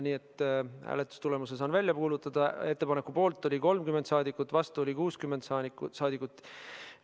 Nii et hääletustulemuse saan välja kuulutada: ettepaneku poolt oli 30 saadikut, vastu oli 60 saadikut.